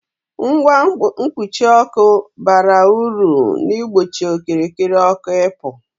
Ngwa mkpuchi ọkụ bara ulu n'igbochi okirikiri ọkụ ị pu